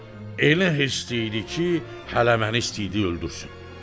elə hisli idi ki, hələ məni istəyirdi öldürsün.